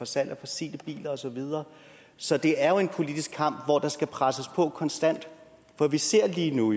salg af fossile biler og så videre så det er jo en politisk kamp hvor der skal presses på konstant for vi ser jo lige nu